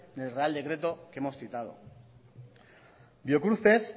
del real decreto que hemos citado biocruces